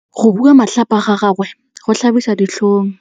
Go bua matlhapa ga gagwe go tlhabisa ditlhong.